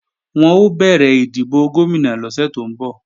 Wọn ó bẹ̀rẹ̀ ìdìbò Gómìnà lọ́sẹ̀ tó ń bọ̀